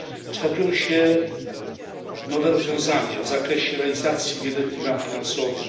Kształtują się nowe rozwiązania w zakresie realizacji wieloletnich ram finansowych.